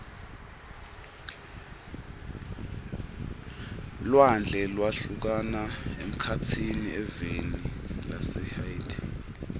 lwandle lwahlukana emkhatsini eveni lase haiti